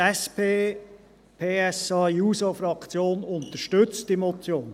Die SP-PSA-JUSO-Fraktion unterstützt diese Motion.